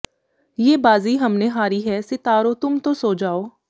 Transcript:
ਯੇ ਬਾਜ਼ੀ ਹਮਨੇ ਹਾਰੀ ਹੈ ਸਿਤਾਰੋ ਤੁਮ ਤੋ ਸੋ ਜਾਓ